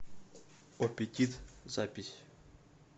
опетит запись